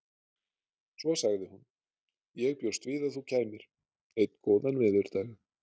Svo sagði hún: Ég bjóst við að þú kæmir. einn góðan veðurdag